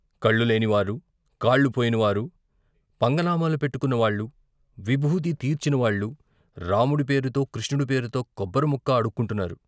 కళ్లులేనివారు, కాళ్లు పోయినవారు, పంగనామాలు పెట్టుకున్న వాళ్ళు, విభూతి తీర్చినవాళ్ళు, రాముడి పేరుతో కృష్ణుడి పేరుతో కొబ్బరిముక్క అడుక్కుంటున్నారు.